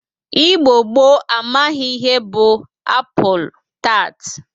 Igbo gboo amaghi ihe bụ apụl tat